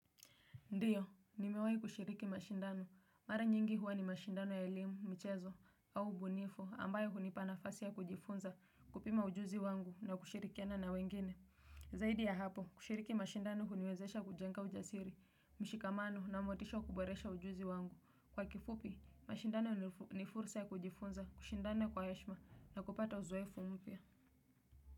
Ndiyo, nimewahi kushiriki mashindano, mara nyingi huwa ni mashindano ya elimu, michezo, au ubunifu, ambayo hunipa nafasi ya kujifunza, kupima ujuzi wangu na kushirikiana na wengine. Zaidi ya hapo, kushiriki mashindano huniwezesha kujenga ujasiri, mshikamano na motisho wa kuboresha ujuzi wangu. Kwa kifupi, mashindano ni fursa ya kujifunza, kushindana kwa heshima na kupata uzoefu mpya.